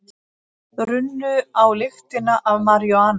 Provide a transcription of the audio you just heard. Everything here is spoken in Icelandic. Runnu á lyktina af maríjúana